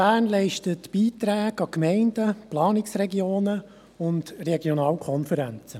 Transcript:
Bern leistet Beiträge an Gemeinden, Planungsregionen und Regionalkonferenzen.